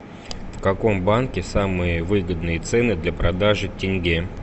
в каком банке самые выгодные цены для продажи тенге